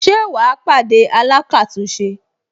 Ṣé wà á pàdé alákàtúnṣe